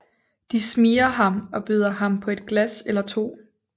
De smigrer ham og byder ham på et glas eller to